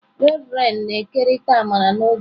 Reverend na-ekerịta amara n'oge a.